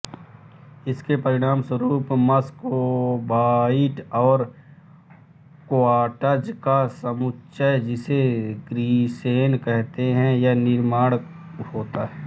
इसके परिणामस्वरूप मस्कोबाइट और क्वार्ट्ज का समुच्चय जिसे ग्रीसेन कहते हैं का निर्माण होता है